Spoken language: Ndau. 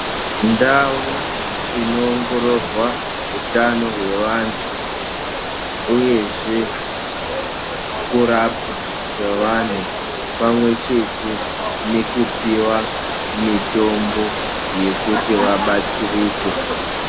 Ndau inoongororwa hutano hwevantu uyezve kurapwa kwevanhu pamwechete nekupiwa mitombo yekuti vabatsirike.